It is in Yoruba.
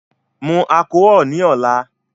Mu alchol ni ọla